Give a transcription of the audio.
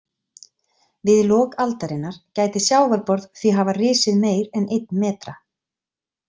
Við lok aldarinnar gæti sjávarborð því hafa risið meir en einn metra.